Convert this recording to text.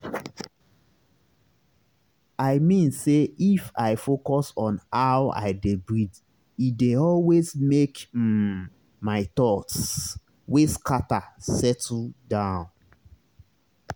i mean say if i focus on how i dey breathee dey always make um my thoughts wey scatter settle down.